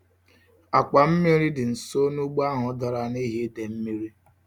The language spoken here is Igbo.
Àkwà mmiri dị nso nugbo ahụ dara nihi idei mmiri.